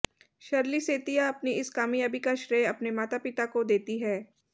Shirley Setia अपनी इस कामयाबी का श्रेय अपने माता पिता को देती हैं